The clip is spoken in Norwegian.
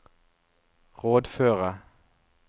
rådføre